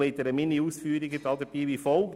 Ich gliedere meine Ausführungen wie folgt: